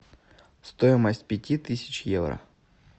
стоимость пяти тысяч евро